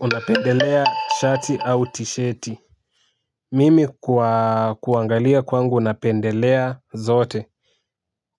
Unapendelea shati au tisheti mimi kuangalia kwangu napendelea zote